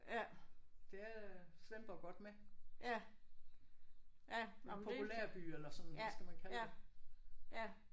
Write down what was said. Det er Svendborg godt med. En populær by eller hvad skal man kalde det